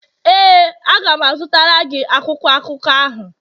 ee, a ga m azụtara gị akwụkwọ akụkọ ahụ.